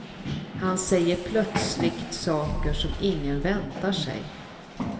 Han säger plötsligt saker som ingen väntar sig.